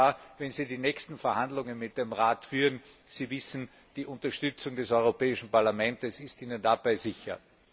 Herr Kommissar, wenn Sie die nächsten Verhandlungen mit dem Rat führen Sie wissen, die Unterstützung des Europäischen Parlaments ist Ihnen dabei sicher.